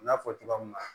N y'a fɔ cogoya min na